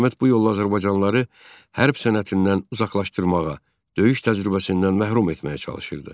Hökumət bu yolla azərbaycanlıları hərb sənətindən uzaqlaşdırmağa, döyüş təcrübəsindən məhrum etməyə çalışırdı.